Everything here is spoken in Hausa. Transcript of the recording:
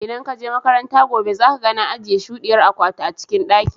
Idan ka je makaranta gobe, zaka ga na ajiye shudiyar akwatu a cikin daki.